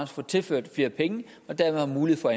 får tilført flere penge og dermed har mulighed for